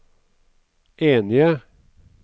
enige